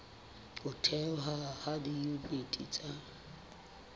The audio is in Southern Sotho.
ho thehwa ha diyuniti tsa